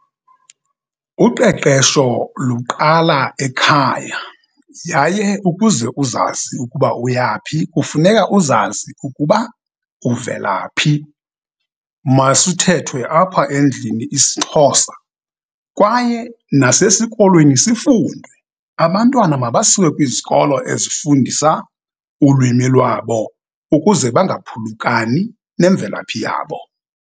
Uqeqesho luqala ekhaya yaye ukuze uzazi ukuba uyaphi kufuneka uzazi ukuba uvelaphi. Masithethwe apha endlini isiXhosa kwaye nasesikolweni sifundwe. Abantwana mabasiwe kwizikolo ezifundisa ulwimi lwabo ukuze bangaphulukani nemvelaphi yabo.